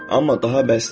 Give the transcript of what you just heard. Amma daha bəsdir.